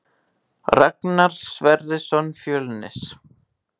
Ragnar Sverrisson Fjölnir